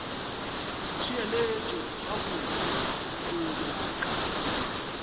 ntheelet gabotse o tlo nyaka